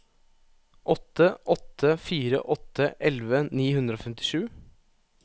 åtte åtte fire åtte elleve ni hundre og femtisju